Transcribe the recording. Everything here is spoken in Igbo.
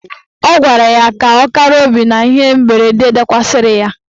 Ọ gwara ya ka ọ kara obi n'ihe mberede dakwasịrị ya.